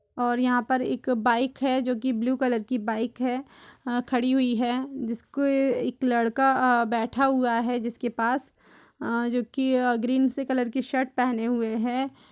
--और यहा पर एक बाईक है जो ब्लू कलर की बाईक है खड़ी हुयी है जिस पे के एक लड़का बैठा हुआ है जिसके पास जो कि ग्रीन से कलर की शर्ट पहने हुए है।